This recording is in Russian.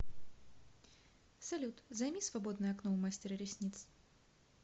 салют займи свободное окно у мастера ресниц